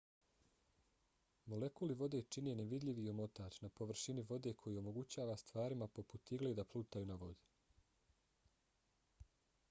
molekuli vode čine nevidljivi omotač na površini vode koji omogućava stvarima poput igle da plutaju na vodi